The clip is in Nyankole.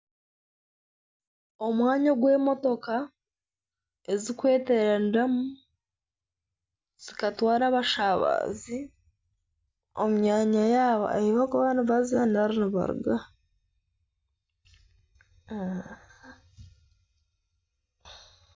Omwanya ogu emotooka zirikweteraniramu zikatwara abashabaazi omu myanya yaabo ahu barikuba nibaza nari nibaruga